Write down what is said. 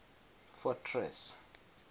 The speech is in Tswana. fortress